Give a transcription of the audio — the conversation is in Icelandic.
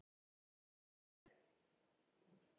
Hugljúf, hvað er klukkan?